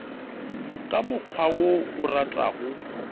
ka mokgwa wo o ratago